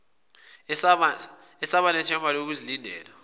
eseba nethemba lokulindela